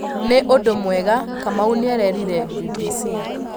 Nĩ mũndũ mwega", Kamau nĩarerire BBC